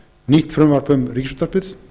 nýtt frumvarp um ríkisútvarpið